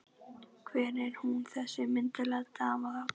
Hver er hún þessi myndarlega dama þarna?